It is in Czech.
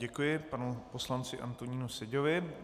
Děkuji panu poslanci Antonínu Seďovi.